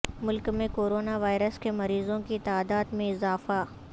ملک میں corona virus کے مریضوں کی تعداد میں اضافہ